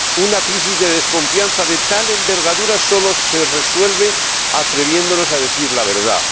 Una crisis de desconfianza de tal envergadura solo se resuelve atreviéndonos a decir la verdad.